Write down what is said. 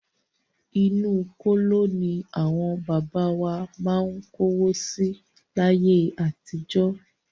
Inú kóló ní àwọn bàbá wa má ń kówó si láyé àtijọ́.